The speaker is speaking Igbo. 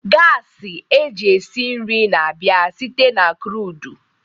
gas esi nri na-abịa site na crude